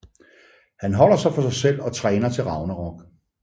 Han holder sig for sig selv og træner til Ragnarok